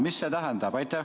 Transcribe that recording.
Mis see tähendab?